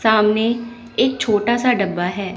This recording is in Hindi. सामने एक छोटा सा डब्बा है।